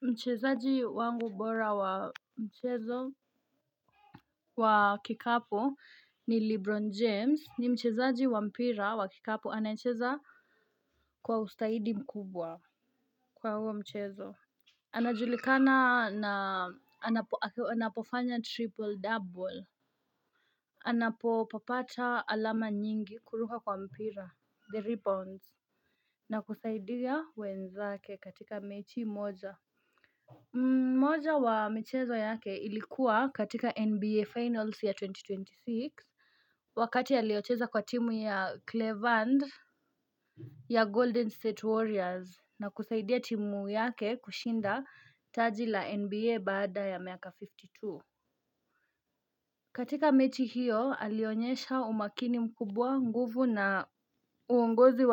Mchezaji wangu bora wa mchezo wa kikapu ni Lebron James ni mchezaji wa mpira wa kikapu anacheza kwa ustadi mkubwa kwa huo mchezo. Anajulikana na anapofanya triple double. Anapopata alama nyingi kuruka kwa mpira, the ribbons, na kusaidia wenzake katika mechi moja. Mmoja wa michezo yake ilikuwa katika NBA Finals ya elfu mbili na ishirini na sita. Wakati aliocheza kwa timu ya Cleveland ya Golden State Warriors Na kusaidia timu yake kushinda taji la NBA baada ya miaka hamsini na mbili. Katika mechi hiyo alionyesha umakini mkubwa nguvu na uongozi